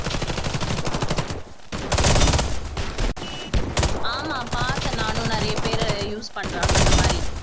ஆமா பார்த்த நானும் நிறைய பேரு use பண்றாங்க அந்த மாதிரி